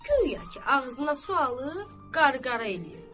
Guya ki, ağzına su alır, qarqara eləyir.